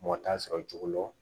Mɔgɔ t'a sɔrɔ cogo lo lɔ